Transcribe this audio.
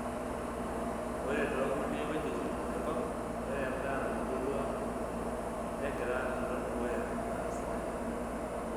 Ore too nkulie wuejitin enkop, ore endaa natubulua negira alo dukuya aa sidai.